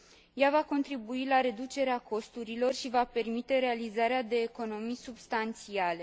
Ea va contribui la reducerea costurilor și va permite realizarea de economii substanțiale.